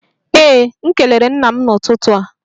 Ee, m kelere nna m n'ụtụtụ a